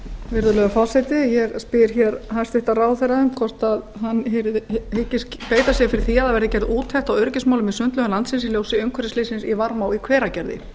virðulegur forseti ég spyr hæstvirtur ráðherra hvort hún hyggist beita sér fyrir því að gerð verði úttekt á öryggismálum í sundlaugum landsins í ljósi umhverfisslyssins í varmá í hveragerði